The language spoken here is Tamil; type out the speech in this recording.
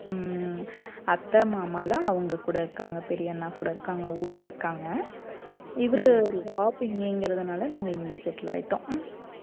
உம் அத்தை மாமா எல்லாம் அவங்க கூட இருக்காங்க பெரிய அண்ணா கூட இருக்காங்க ஊர்ல இருக்காங்க இவரு job இங்கறதுனால நாங்க இங்கே settle ஆயிட்டோம்